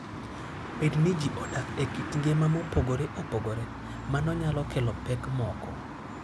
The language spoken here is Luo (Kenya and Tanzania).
Bedo ni ji odak e kit ngima mopogore opogore, mano nyalo kelo pek moko.